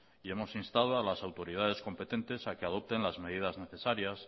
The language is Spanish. y hemos instado a las autoridades competentes a que adopten las medidas necesarias